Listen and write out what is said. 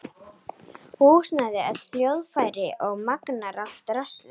Húsnæði, öll hljóðfæri og magnara, allt draslið.